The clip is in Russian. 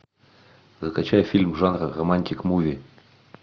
закачай фильм жанра романтик муви